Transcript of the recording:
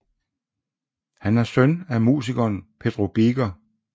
Han er søn af musikeren Pedro Biker